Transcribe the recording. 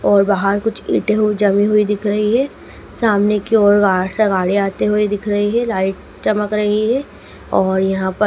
और बाहर कुछ इंटें हु जमी हुई दिख रही है सामने की ओर बाहर से गाड़ी आते हुए दिख रही है लाइट चमक रही है और यहां पर--